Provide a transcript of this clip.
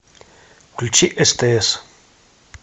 включи стс